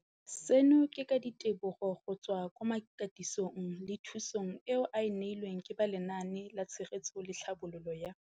Seno ke ka ditebogo go tswa mo katisong le thu song eo a e neilweng ke ba Lenaane la Tshegetso le Tlhabololo ya